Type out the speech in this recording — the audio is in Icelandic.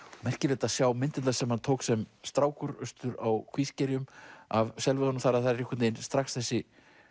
merkilegt að sjá myndirnar sem hann tók sem strákur austur á Kvískerjum af selveiðunum þar það er einhvern veginn strax þessi